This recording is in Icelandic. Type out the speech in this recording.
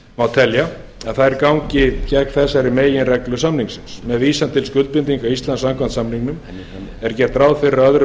má telja að þær gangi gegn þessari meginreglu samningsins með vísan til skuldbindinga íslands samkvæmt samningnum er gert ráð fyrir að öðrum